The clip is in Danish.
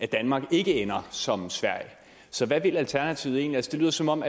danmark ikke ender som sverige så hvad vil alternativet egentlig det lyder som om